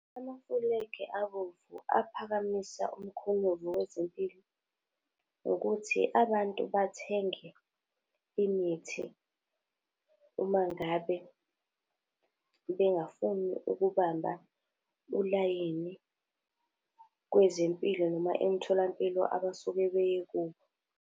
Amafulegi abomvu aphakamisa umkhonyovu wezempilo ukuthi abantu bathenge imithi, uma ngabe bengafuni ukubamba ulayini kwezempilo noma emtholampilo abasuke beye kuwo.